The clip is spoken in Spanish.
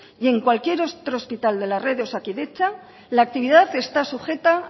y en cualquier otro hospital de la red de osakidetza la actividad está sujeta